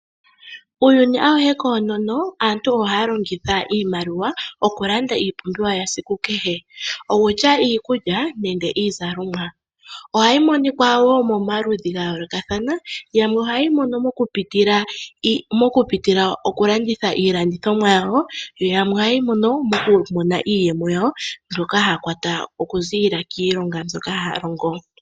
Uuyuni awuhe koonono aantu ohaya longitha iimaliwa oku landa iipumbiwa yesiku kehe okutya iikulya nenge iizalomwa. Ohayi monika woo momaludhi ga yoolokathana yamwe ohayeyi mono mokupitila okulanditha iilandithomwa yawo yo yamwe ohayeyi mono moku mona iiyemo yawo mbyoka haya kwata oku ziilila kiilonga mbyoka haya longo.